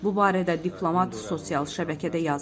Bu barədə diplomat sosial şəbəkədə yazıb.